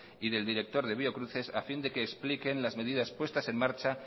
y del director de biocruces a fin de que expliquen las medidas puestas en marcha